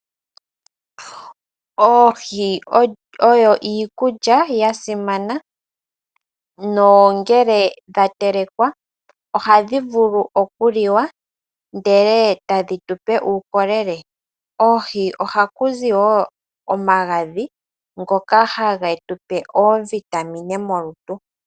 Oohi oyo iikulya yasimana nongele dha telekwa ohadhi vulu okuliwa ndele etadhi tupe uukolele . Koohi ohaku zi wo omagadhi ngoka hagetupe iitungithilutu.